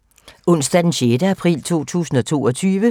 Onsdag d. 6. april 2022